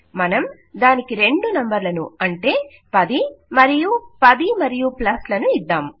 మనం దానికి రెండు నంబర్లను అంటే 10 మరియు10 మరియు ప్లస్లను ఇద్దాం